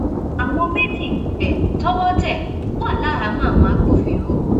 àwọn méjì um tọwọ tẹ wá láhàámọ àwọn agbófinró